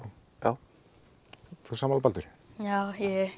já sammála Baldur já ég